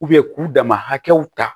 k'u dama hakɛw ta